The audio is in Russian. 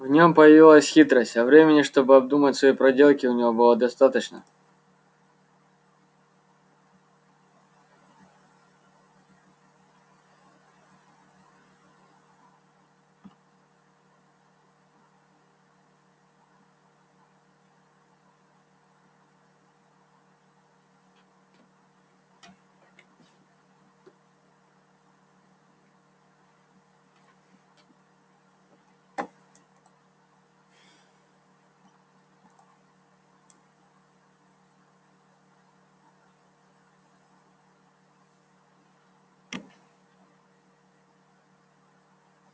в нем появилась хитрость а времени чтобы обдумать свои проделки у него было достаточно